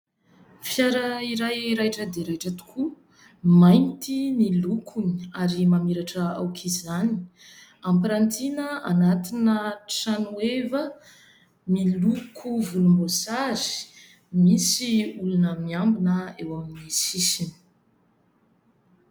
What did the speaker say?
Fiara iray raitra dia raitra tokoa, mainty ny lokony ary mamiratra aoka izany. Ampirantiana anatina trano heva miloko volomboasary, misy olona miambina eo amin'ny sisiny.